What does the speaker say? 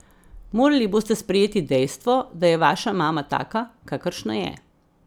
Morali boste sprejeti dejstvo, da je vaša mama taka, kakršna je.